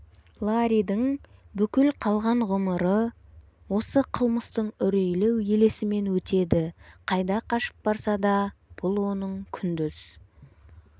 ларридің бүкіл қалған ғұмыры осы қылмыстың үрейлі елесімен өтеді қайда қашып барса да бұл оның күндіз